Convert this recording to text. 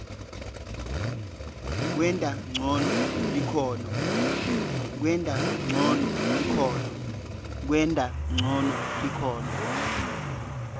kwenta ncono likhono